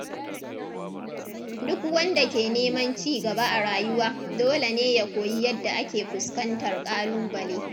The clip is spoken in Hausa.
Duk wanda ke neman ci gaba a rayuwa, dole ne ya koyi yadda ake fuskantar kalubale.